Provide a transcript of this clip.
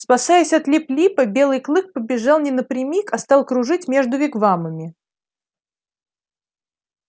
спасаясь от лип липа белый клык побежал не напрямик а стал кружить между вигвамами